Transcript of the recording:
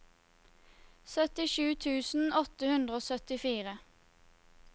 syttisju tusen åtte hundre og syttifire